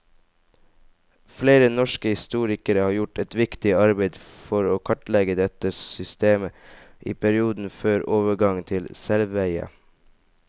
Flere norske historikere har gjort et viktig arbeid for å kartlegge dette systemet i perioden før overgangen til selveie.